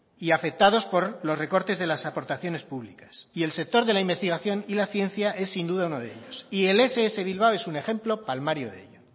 y afectados por los recortes de las aportaciones públicas y el sector de la investigación y la ciencia es sin duda uno de ellos y el ess bilbao es un ejemplo palmario de ello